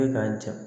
Ne ka ja